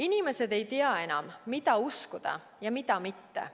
Inimesed ei tea enam, mida uskuda ja mida mitte.